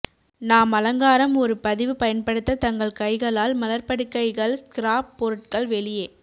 நாம் அலங்காரம் ஒரு பதிவு பயன்படுத்த தங்கள் கைகளால் மலர் படுக்கைகள் ஸ்கிராப் பொருட்கள் வெளியே